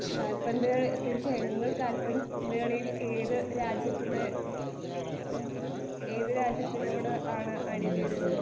കാൽപന്ത് തീർച്ചയായും നിങ്ങൾ കാൽപന്ത് കളിയിൽ ഏത് രാജ്യത്തിൻ്റെ ഉം ഏത് രാജ്യത്തിനോട് ആണ് അണിചേരുന്നത്?